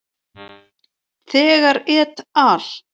Þegar et al.